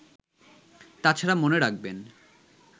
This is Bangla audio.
তছাড়া মনে রাখবেন